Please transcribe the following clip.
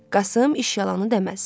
Qasım iş yalanı deməz.